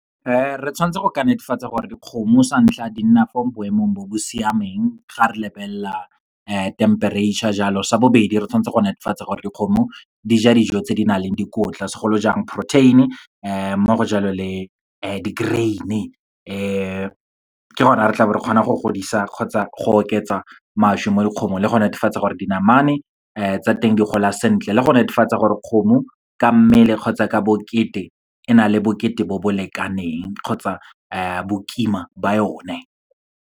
Re tshwantse go ka netefatsa gore dikgomo sa ntlha, di nna fo boemong bo bo siameng, ga re lebelela temperature jalo. Sa bobedi, re tshwantse go netefatsa gore dikgomo di ja dijo tse di nang le dikotla, segolojang protein-e mo go jalo le di-grain-e . Ke gone ga re tlabo re kgonang go godisa kgotsa go oketsa mašwi mo dikgomong le go netefatsa gore dinamane tsa teng di gola sentle le go netefatsa gore kgomo ka mmele kgotsa ka bokete ena le bokete bo bo lekaneng, kgotsa bokima ba yone.